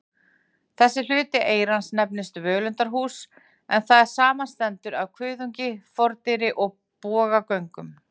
Þessi hluti eyrans nefnist völundarhús, en það samanstendur af kuðungi, fordyri og bogagöngum.